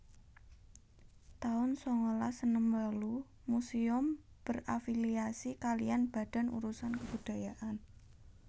taun sangalas enem wolu Museum berafiliasi kaliyan Badan Urusan Kebudayaan